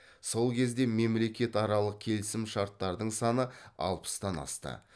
сол кезде мемлекетаралық келісім шарттардың саны алпыстан асты